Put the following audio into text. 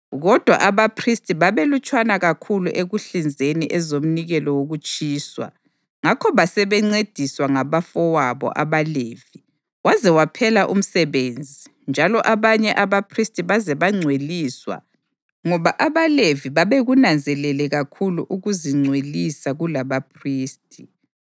Kodwa, abaphristi babebalutshwana kakhulu ekuhlinzeni ezomnikelo wokutshiswa; ngakho basebencediswa ngabafowabo abaLevi waze waphela umsebenzi njalo abanye abaphristi baze bangcweliswa ngoba abaLevi babekunanzelele kakhulu ukuzingcwelisa kulabaphristi.